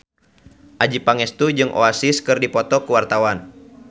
Adjie Pangestu jeung Oasis keur dipoto ku wartawan